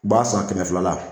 B'a san kɛmɛ fila la